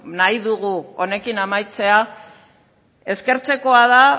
nahi dugu honekin amaitzea eskertzekoa da